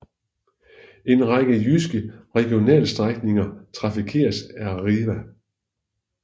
En række jyske regionaltogsstrækninger trafikeres af Arriva